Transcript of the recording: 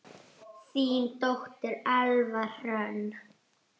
Þín dóttir, Elfa Hrönn.